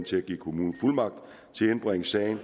til at give kommunen fuldmagt til at indbringe sagen